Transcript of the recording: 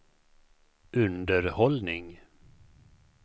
underhållning